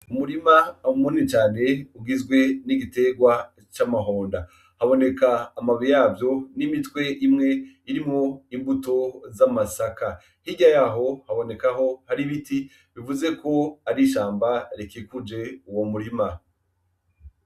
Umurima munini cane ugizwe n'igiterwa c'amahonda. Haboneka amababi yavyo n'imitwe imwe irimwo imbuto z'amasaka, hirya yaho habonekaho hari ibiti bivuze ko ari ishamba rikikuje uwo murima.